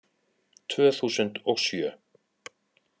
Tvö þúsund og sjö